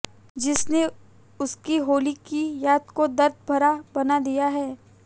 जिसने उनकी होली की याद को दर्द भरा बना दिया है